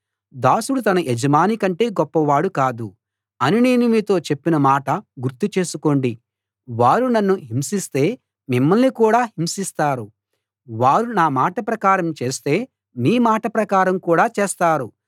దాసుడు తన యజమానికంటే గొప్పవాడు కాదు అని నేను మీతో చెప్పిన మాట గుర్తు చేసుకోండి వారు నన్ను హింసిస్తే మిమ్మల్ని కూడా హింసిస్తారు వారు నా మాట ప్రకారం చేస్తే మీ మాట ప్రకారం కూడా చేస్తారు